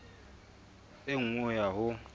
e nngwe ho ya ho